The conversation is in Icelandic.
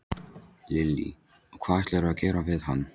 Lillý: Og hvað ætlarðu að gera við hann?